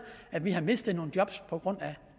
at vi har mistet nogen job på grund af